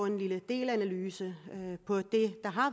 en lille delanalyse